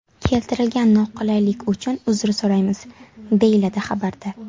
Keltirilgan noqulaylik uchun uzr so‘raymiz”, deyiladi xabarda.